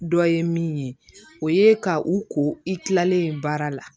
Dɔ ye min ye o ye ka u ko i kilalen baara la